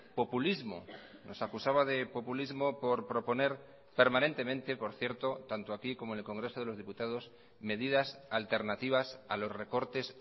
populismo nos acusaba de populismo por proponer permanentemente por cierto tanto aquí como en el congreso de los diputados medidas alternativas a los recortes